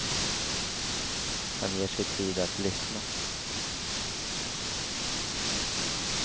Han ger sig tid att lyssna.